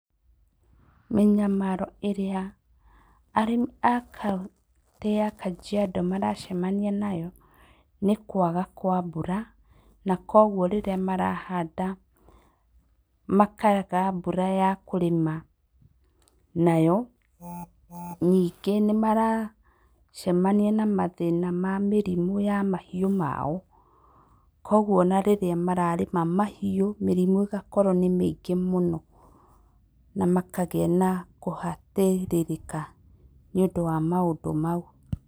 Mĩnyamaro ĩrĩa arĩmi a kauntĩ ya Kajiado maracemania nayo nĩ kwaga kwa mbura, na kuoguo rĩrĩa marahanda makaga mbura ya kũrĩma nayo. Ningĩ nĩmaracemania na mathĩna ma mĩrimũ ya mahiũ mao, kuoguo ona rĩrĩa mararĩma mahiũ mĩrimũ ĩgakorwo nĩ mĩngĩ mũno na makagĩa na kũhatĩrĩrĩka nĩũndũ wa maũndũ mau.